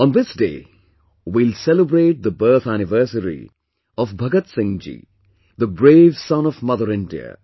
On this day we will celebrate the birth anniversary of Bhagat Singh ji, the brave son of Mother India